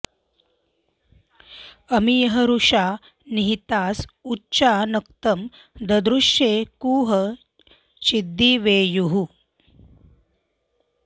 अमी य ऋक्षा निहितास उच्चा नक्तं ददृश्रे कुह चिद्दिवेयुः